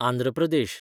Andhra Pradesh